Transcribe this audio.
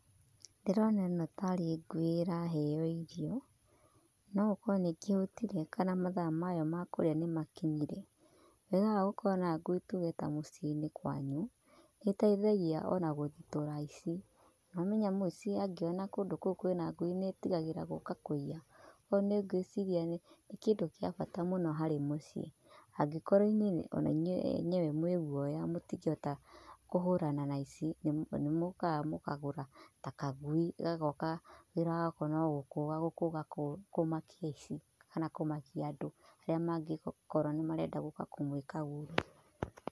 Ndĩrona ĩno tarĩ ngui ĩraheo irio. No gũkorwo nĩ ĩkĩhũtire kana mathaa mayo ma kũrĩa nĩ makinyire. Wega wa gũkorwo na ngui tuge ta mũciĩ-inĩ kwanyu, nĩ ĩteithagia ona gũthitũra aici. Nĩ wamenya mũici angĩona kũndũ kũu kwina ngui nĩ etigagĩra gũka kũiya. Ũguo nĩ ngwiciria nĩ kĩndĩ gĩa bata mũno harĩ muciĩ. Angĩkorwo inyui ona inyui eneyewe mwĩ gũoya mũtingĩhota kũhũrana na aici, nĩ mũkaga mũkagũra ta kagui gagoka wĩra wako no gũkũga gũkũga kũmakia aici kana kũmakia andũ arĩa mangĩkorwo nĩ marenda gũka kũmwĩka ũru.